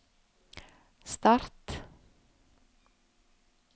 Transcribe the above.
start